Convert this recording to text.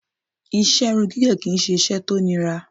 Ìṣe irun gígẹ̀ kí i ṣe iṣẹ́ tó nira